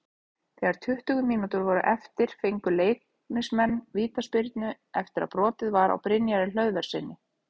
Þegar tuttugu mínútur voru eftir fengu Leiknismenn vítaspyrnu eftir að brotið var á Brynjari Hlöðverssyni.